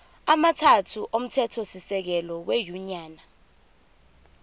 amathathu omthethosisekelo wenyunyane